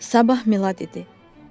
Sabah Milad idi.